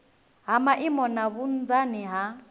ha maimo na vhunzani ha